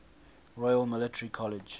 royal military college